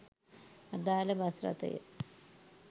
අදාළ බස් රථය